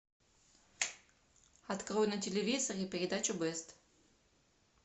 открой на телевизоре передачу бест